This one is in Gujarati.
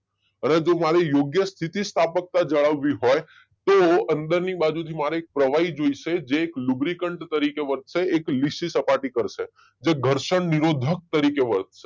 પરંતુ મારે યોઉગ્યા સ્થિતિ સ્થાપકતા જાળવવી હોય તો અંદર ની બાજુ થી મને પ્રવાહી જોશે જે એક લુબ્રીકેન્ત્સ તરીકે વધશે એક લીસી સપાટી કરશે જે ઘર્ષણ નિરોધક તરીકે વર્તશે